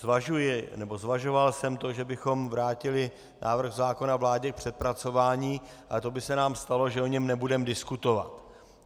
Zvažuji, nebo zvažoval jsem to, že bychom vrátili návrh zákona vládě k přepracování, ale to by se nám stalo, že o něm nebudeme diskutovat.